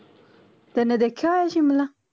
ਤੇਨੇ ਦੇਖਿਆ ਹੋਇਆ ਸ਼ਿਮਲਾ